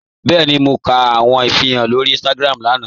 Bẹ́ẹ̀ni, mọ̀ kà awọn ìfírànṣẹ̀ lórí Instagram lánà.